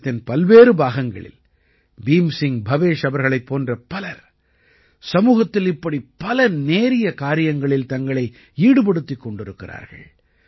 தேசத்தின் பல்வேறு பாகங்களில் பீம் சிங் பவேஷ் அவர்களைப் போன்ற பலர் சமூகத்தில் இப்படி பல நேரிய காரியங்களில் தங்களை ஈடுபடுத்திக் கொண்டிருக்கிறார்கள்